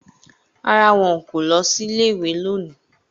Rárá, wọn kò lọ sí ilé-ìwé lónìí